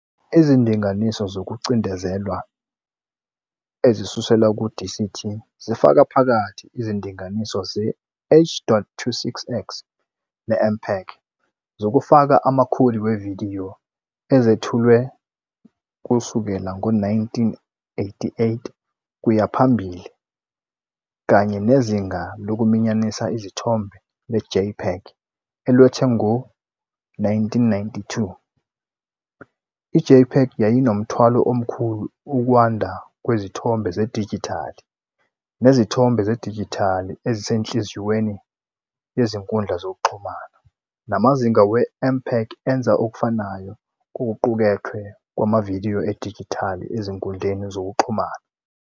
Izindinganiso zokucindezelwa ezisuselwa ku-DCT zifaka phakathi izindinganiso ze-H.26x ne-MPEG zokufaka amakhodi wevidiyo ezethulwe kusukela ngo-1988 kuye phambili, kanye nezinga lokuminyanisa isithombe le-JPEG elethwe ngo-1992. I-JPEG yayinomthwalo omkhulu ukwanda kwezithombe zedijithali nezithombe zedijithali ezisenhliziyweni yezinkundla zokuxhumana, namazinga we-MPEG enze okufanayo kokuqukethwe kwamavidiyo edijithali ezinkundleni zokuxhumana.